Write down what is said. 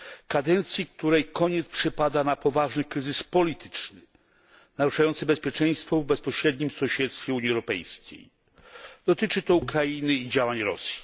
Kadencji, której koniec przypada na poważny kryzys polityczny, naruszający bezpieczeństwo w bezpośrednim sąsiedztwie Unii Europejskiej, dotyczy to Ukrainy i działań Rosji.